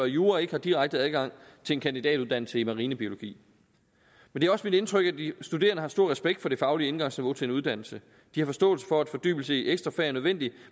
jura ikke har direkte adgang til en kandidatuddannelse i marinbiologi det er også mit indtryk at de studerende har stor respekt for det faglige indgangsniveau til en uddannelse de har forståelse for at fordybelse i ekstrafag er nødvendig